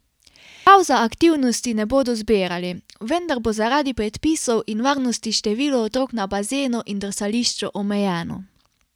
Prijav za aktivnosti ne bodo zbirali, vendar bo zaradi predpisov in varnosti število otrok na bazenu in drsališču omejeno.